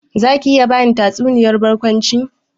Zaki iya bani tatsuniyar barkwanci?